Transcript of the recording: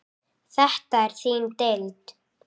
Þetta er þín deild.